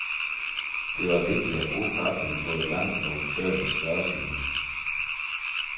Det var vigtigere at bruge kræfterne på et langt og udførligt spørgeskema.